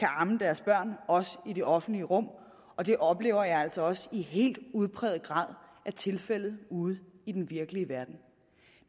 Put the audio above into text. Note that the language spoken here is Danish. amme deres børn i det offentlige rum og det oplever jeg altså også i helt udpræget grad er tilfældet ude i den virkelige verden